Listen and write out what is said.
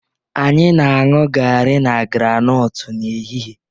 Anyị na-aṅụ garri na groundnut n'ehihie